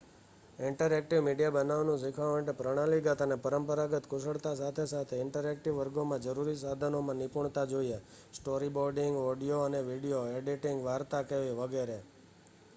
interactive media બનાવવાનું શીખવા માટે પ્રણાલીગત અને પરંપરાગત કુશળતા સાથે સાથે ઇન્ટરેક્ટિવ વર્ગોમાં જરૂરી સાધનોમાં નિપુણતા જોઈએ સ્ટોરીબોર્ડિંગ ઓડિયો અને વિડિઓ એડિટિંગ વાર્તા કહેવી વગેરે